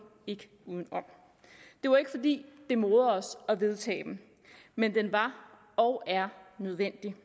ikke uden om det var ikke fordi det morede os at vedtage den men den var og er nødvendig